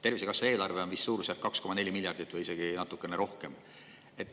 Eelarve on suurusjärgus 2,4 miljardit või isegi natuke rohkem.